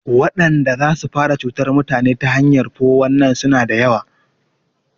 Wadanda zasu fara cutar mutane ta hanyan 419 suna da yawa